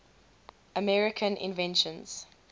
american inventions